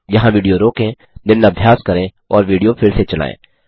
यहाँ विडियो रोकें निम्न अभ्यास करें और विडियो फिर से चलायें